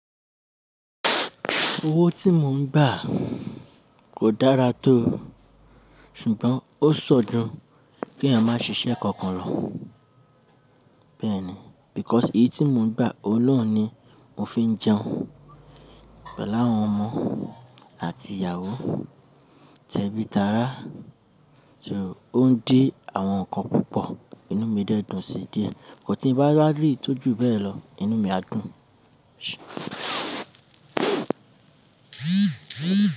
Owó tí mò ń gbà kò dára tó, ṣùgbọ́n ó ṣan jú kí èèyàn má ṣiṣẹ́ kankan lọ. Bẹ́ẹ̀ni, because iye tí mò ń gbà ọhun naa ni mo fi ń jẹun. Pẹ̀lú àwọn ọmọ àti ìyàwó, tẹ́bí tára. So ó ń dí àwọn nǹkan púpọ̀, inú mi dẹ́dùn sí díẹ. But tí ì bá wá rí ìtọ́jú bẹ́ẹ̀ lọ, inú mi á dùn.